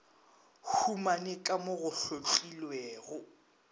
humane ka mo go hlotlilwego